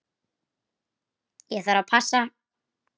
Ég þarf að passa.